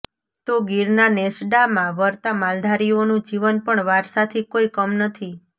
તો ગીરના નેસડામાં વરતા માલધારીઓનું જીવન પણ વારસાથી કોઇ કમ નથી